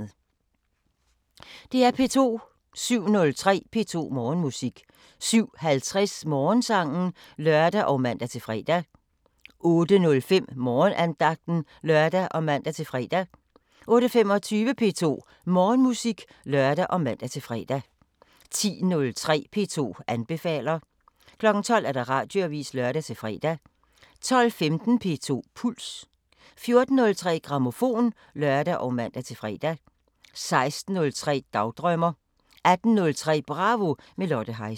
DR P2